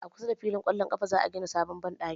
A kusa da fillin kwallo ƙafa za a gina sabon banɗakin